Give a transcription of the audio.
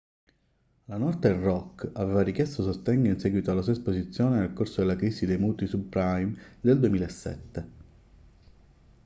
la northern rock aveva richiesto sostegno in seguito alla sua esposizione nel corso della crisi dei mutui subprime del 2007